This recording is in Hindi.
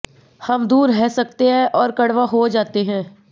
हम दूर रह सकते हैं और कड़वा हो जाते हैं